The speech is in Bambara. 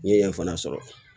N ye yen fana sɔrɔ